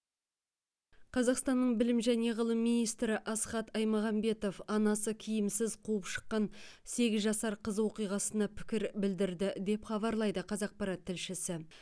қазақстанның білім және ғылым министрі асхат аймағамбетов анасы киімсіз қуып шыққан сегіз жасар қыз оқиғасына пікір білдірді деп хабарлайды қазақпарат тілшісі